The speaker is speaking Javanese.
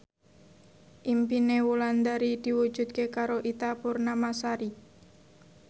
impine Wulandari diwujudke karo Ita Purnamasari